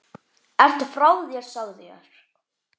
Ertu frá þér sagði ég.